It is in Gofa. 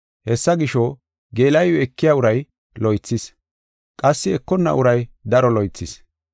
Hessa gisho, geela7iw ekiya uray lo77o oothis; qassi ekonna uray daro lo77o oothis.